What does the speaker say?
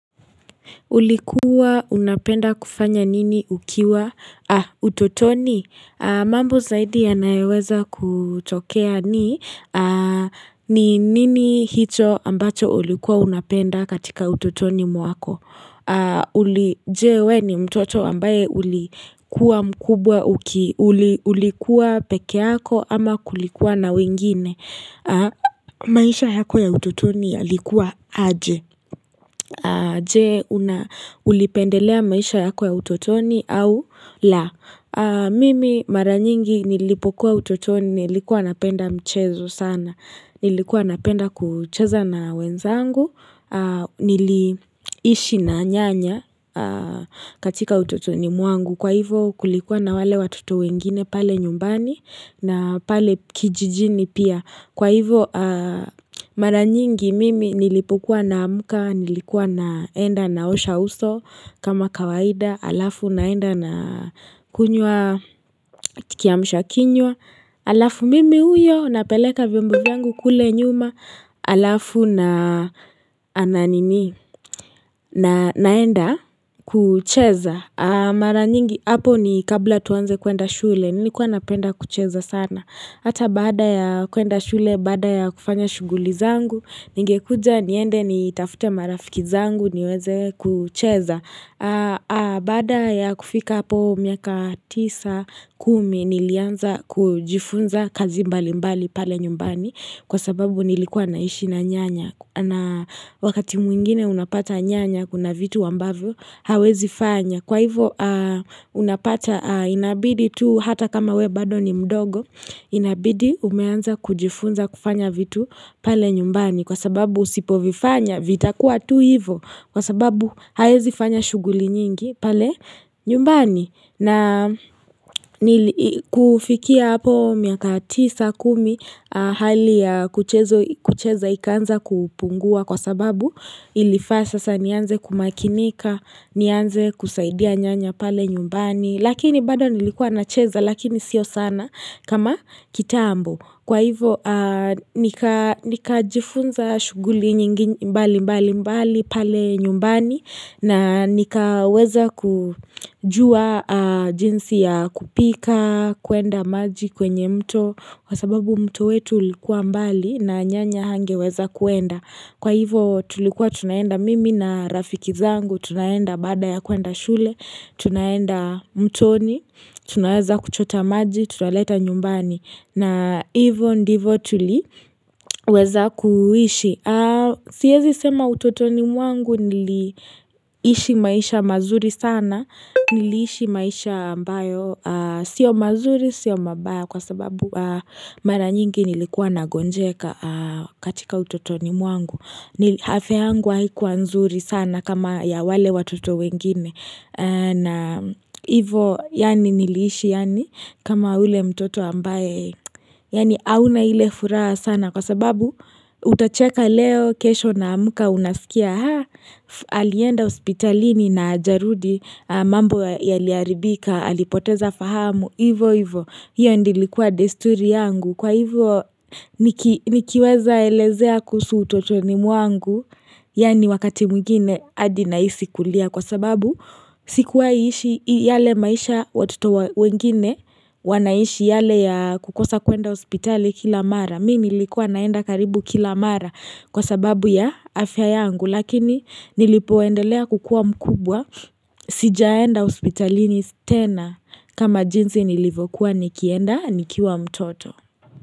Ulikuwa unapenda kufanya nini ukiwa utotoni? Mambo zaidi yanayoweza kutokea ni nini hicho ambacho ulikuwa unapenda katika utotoni mwako. Uli je we ni mtoto ambaye ulikuwa mkubwa uki. Ulikuwa peke yako ama kulikuwa na wengine. Maisha yako ya utotoni ya likuwa aje. Je, ulipendelea maisha yako ya utotoni au la. Mimi mara nyingi nilipokuwa utotoni nilikuwa napenda mchezo sana. Nilikuwa napenda kucheza na wenzangu. Niliishi na nyanya katika utotoni muangu. Kwa hivo kulikuwa na wale watoto wengine pale nyumbani na pale kijijini pia. Kwa hivo mara nyingi mimi nilipokuwanaamka, nilikuwa naenda na osha uso kama kawaida, alafu naenda na kunywa kiamsha kinywa, alafu mimi uyo napeleka vimbo vyangu kule nyuma, alafu na naenda kucheza. Mara nyingi hapo ni kabla tuanze kuenda shule Nilikuwa napenda kucheza sana Hata bada ya kuenda shule Bada ya kufanya shuguli zangu Ningekuja niende ni tafute marafiki zangu niweze kucheza Baada ya kufika hapo miaka 9-10 Nilianza kujifunza kazi mbali mbali pale nyumbani Kwa sababu nilikuwa naishi na nyanya na wakati mwingine unapata nyanya Kuna vitu wambavyo hawezi fanya kwa hivo unapata inabidi tu hata kama we bado ni mdogo inabidi umeanza kujifunza kufanya vitu pale nyumbani kwa sababu sipo vifanya vitakuwa tu hivo kwa sababu hawezi fanya shuguli nyingi pale nyumbani na kufikia hapo miaka tisa kumi hali ya kucheza ikanza kupungua kwa sababu ilifasa sasa nianze kumakinika nianze kusaidia nyanya pale nyumbani Lakini bada nilikuwa nacheza lakini sio sana kama kitambo Kwa hivo nikajifunza shughuli nyingi mbali mbali mbali pale nyumbani na nika weza kujua jinsi ya kupika kuenda maji kwenye mto Kwa sababu mto wetu likuwa mbali na nyanya hangewezakuenda Kwa hivo tulikuwa tunaenda mimi na rafiki zangu Tunaenda bada ya kuenda shule, tunaenda mtoni, tunaweza kuchota maji, tunaleta nyumbani. Na ivo ndivo tuliweza kuishi. Siezisema utotoni mwangu niliishi maisha mazuri sana. Niliishi maisha ambayo. Sio mazuri, sio mabaya kwa sababu mara nyingi nilikuwa nagonjeka katika utotoni mwangu. Ni afya yangu haikuwa nzuri sana kama ya wale watoto wengine na ivo yani niliishi yani kama ule mtoto ambaye Yani hauna hile furaha sana kwa sababu utacheka leo kesho na muka unasikia Haa alienda ospitalini na jarudi mambo yaliaribika alipoteza fahamu Ivo ivo hiyo ndilikua desturi yangu Kwa hivyo nikiweza elezea kusu utotoni mwangu Yani wakati mwengine adi nahisi kulia Kwa sababu sikuwai ishi yale maisha watoto wengine wanaishi yale ya kukosa kuenda ospitali kila mara Mi nilikua naenda karibu kila mara Kwa sababu ya afya yangu Lakini nilipoendelea kukua mkubwa Sijaenda ospitali ni sitena kama jinsi nilivokuwa nikienda nikua mtoto.